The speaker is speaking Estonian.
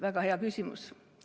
Väga hea küsimus.